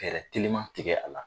Fɛɛrɛ teliman tigɛ a la.